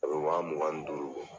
A bɛ wa mugan ni duuru